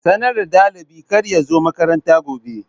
Sanarwa dalibi kar ya zo makaranta gobe.